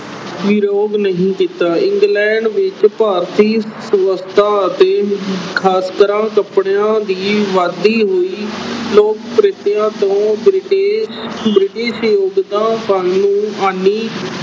ਵਿਰੋਧ ਨਹੀਂ ਕੀਤਾ England ਵਿੱਚ ਭਾਰਤੀ ਵਸਤਾਂ ਅਤੇ ਕੱਪੜਿਆਂ ਦੀ ਵੱਧਦੀ ਹੋਈ ਲੋਕ ਪ੍ਰਿਯਤਾ ਤੋਂ British ਹਾਨੀ